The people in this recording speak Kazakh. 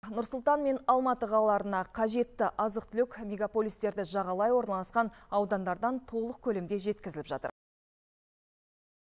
нұр сұлтан мен алматы қалаларына қажетті азық түлік мегаполистерді жағалай орналасқан аудандардан толық көлемде жеткізіліп жатыр